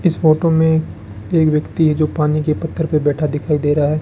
इस फोटो में एक व्यक्ति है जो पानी के पत्थर पे बैठा दिखाई दे रहा है।